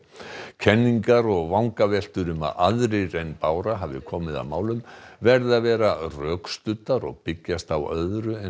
kenningar og vangaveltur um að aðrir en Bára hafi komið að málum verði að vera rökstuddar og byggjast á öðru en